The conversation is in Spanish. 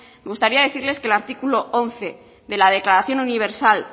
me gustaría decirles que el artículo once de la declaración universal